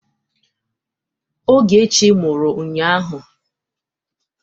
Ogechi mụrụ ụnyahụ.